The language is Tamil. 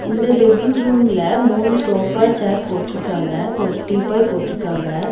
இந்த லிவ்விங் ரூம்ல மூணு சோஃபா சேர் போட்ருக்காங்க ஒரு டீபாய் போட்டுருக்காங்க.